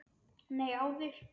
Nei, áður.